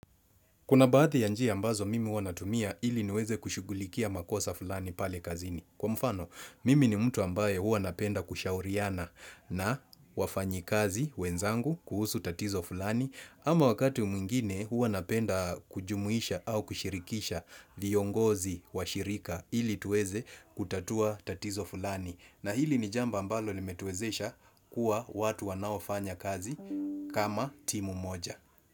Kuna baadhi ya njia ambazo mimi huwa natumia ili niweze kushugulikia makosa fulani pale kazini. Kwa mfano, mimi ni mtu ambaye huwa napenda kushauriana na wafanyikazi wenzangu kuhusu tatizo fulani. Ama wakati mwingine hua napenda kujumuisha au kushirikisha viongozi wa shirika ili tuweze kutatua tatizo fulani. Na hili ni jambo ambalo limetuezesha kuwa watu wanaofanya kazi kama timu moja.